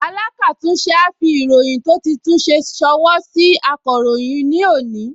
Alákàtúnṣe á fi ìròyìn tó ti tún ṣe ṣọwọ́ sí akọ̀ròyìn ní òní